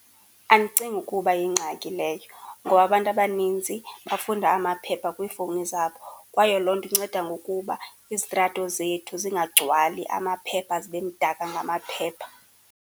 Andicingi ukuba yingxaki leyo ngoba abantu abaninzi bafunda amaphepha kwiifowuni zabo kwaye loo nto inceda ngokuba izitrato zethu zingagcwali amaphepha, zibe mdaka ngamaphepha.